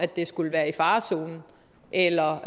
det skulle være i farezonen eller